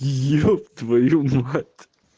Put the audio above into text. еб твою мать